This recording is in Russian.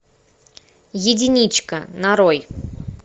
единичка нарой